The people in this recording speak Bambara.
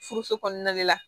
Furuso kɔnɔna de la